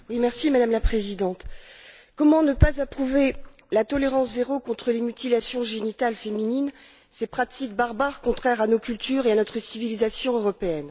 Madame la Présidente, comment ne pas approuver la tolérance zéro contre les mutilations génitales féminines, ces pratiques barbares contraires à nos cultures et à notre civilisation européenne?